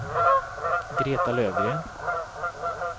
Greta Lövgren